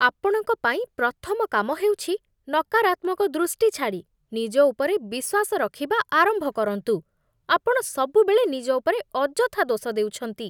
ଆପଣଙ୍କ ପାଇଁ ପ୍ରଥମ କାମ ହେଉଛି ନକାରାତ୍ମକ ଦୃଷ୍ଟି ଛାଡ଼ି ନିଜ ଉପରେ ବିଶ୍ୱାସ ରଖିବା ଆରମ୍ଭ କରନ୍ତୁ। ଆପଣ ସବୁବେଳେ ନିଜ ଉପରେ ଅଯଥା ଦୋଷ ଦେଉଛନ୍ତି।